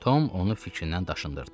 Tom onu fikrindən daşındırdı.